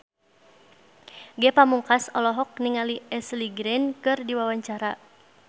Ge Pamungkas olohok ningali Ashley Greene keur diwawancara